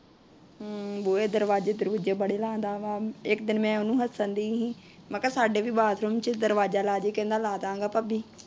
ਏ ਦਰਵਾਜੇ ਦਰਵੂਜੇ ਬੜਾ ਲਾਉਂਦਾ ਆ। ਇੱਕ ਦਿਨ ਮੈ ਉਹਨੂੰ ਹੱਸਣ ਰਹੀ ਸੀ। ਮੈ ਕਿਹਾ ਸਾਡੇ ਵੀ ਬਾਥਰੂਮ ਚ ਦਰਵਾਜਾ ਲਾਜੀ ਕਹਿੰਦਾ ਲਾ ਦਾ ਗਾ ਭਾਬੀ।